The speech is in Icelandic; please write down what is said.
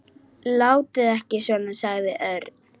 Látið ekki svona sagði Örn.